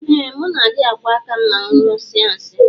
Ee muna adi akwọ akam ma mu nyụsie nsi.